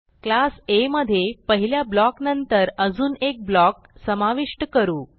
class आ मधे पहिल्या ब्लॉक नंतर अजून एक ब्लॉक समाविष्ट करू